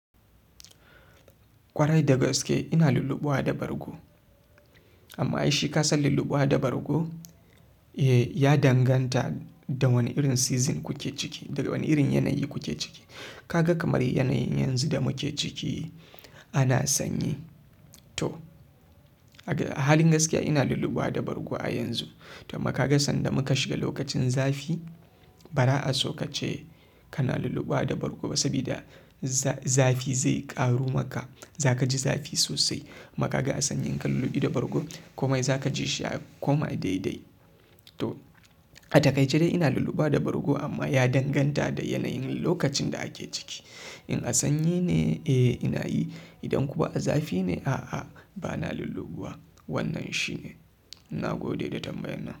Kwarai daga gaske ina lullubawa da bargo. Amma ai shi kasan lullubawa da bargo, eh ya danganta da wane irin season kuke ciki, daga wane irin yanayi kuke ciki. Ka ga kamar yanayin yanzu da muke ciki ana sanyi to a halin gaskiya ina lulubuwa da bargo a yanzu to maka ga sanda muka shiga lokacin zafi ba ra'a sokace kana lullubawa da bargo ba sabida zafi zai ƙaru maka. Za ka ji zafi sosai. Ma ka ga a sanyin ka lullubi da bargo komai za ka ji shi ya koma daidai. To a takaice dai ina lullubawa da bargo amma ya danganta da yanayin lokacin da ake ciki. In a sanyi ne, eh ina yi. Idan kuma a zafi ne, a'a ba na lullubawa. Wannan shine. Na gode da tambayar nan.